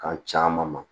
Kan caman ma